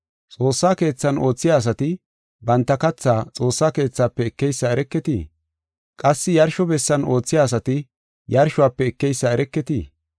Xoossa keethan oothiya asati banta katha xoossa keethafe ekeysa ereketii? Qassi yarsho bessan oothiya asati yarshuwafe ekeysa ereketii?